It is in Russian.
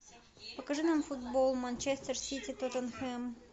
покажи нам футбол манчестер сити тоттенхэм